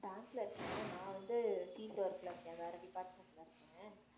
bank ல இருக்கேன் நான் வந்து field work ல இருக்கேன் வேற department ல இருக்கேன்